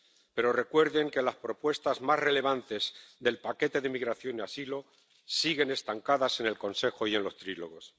pero recuerden que las propuestas más relevantes del paquete de inmigración y asilo siguen estancadas en el Consejo y en los trílogos.